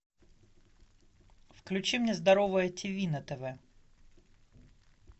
включи мне здоровое ти ви на тв